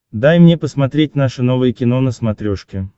дай мне посмотреть наше новое кино на смотрешке